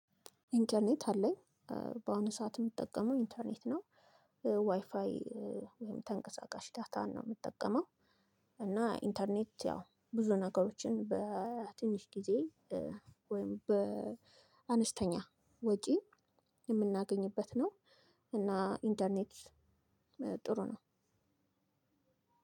ኢንተርኔት አለኝ በአሁኑ ሰዓት የምጠቀመው ኢንተርኔት ነው። ዋይፋይ ወይም ተንቀሳቃሽ ዳታ ነው የምጠቀመው። እና ኢንተርኔት ያው ብዙ ነገሮችን በትንሽ ጊዜ ወይም በአነስተኛ ወጪ የምናገኝበት ነው። እና ኢንተርኔት ጥሩ ነው።